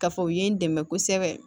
Ka fɔ u ye n dɛmɛ kosɛbɛ